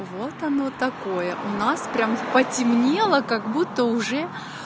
вот оно такое у нас прямо потемнело как будто уже